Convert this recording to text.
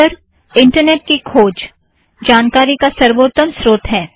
अक्सर इंटरनॆट की खोज जानकारी का सर्वोत्तम स्रोत है